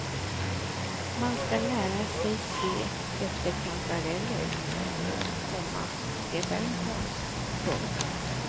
Man ska lära sig se efter kantareller, komma det är en konst. punkt